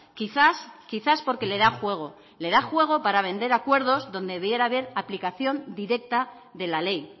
quizás quizás porque le da juego le da juego para vender acuerdos donde debiera haber aplicación directa de la ley